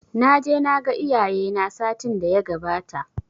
Naje naga iyaye na satin daya gabata